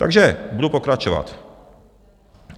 Takže budu pokračovat.